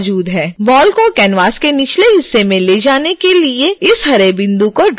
ball को canvas के निचले हिस्से में ले जाने के लिए इस हरे बिंदु को ड्रैग करें